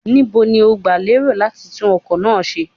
Níbo ni ó ń gba lérò láti tún ọkọ̀ náà ṣe?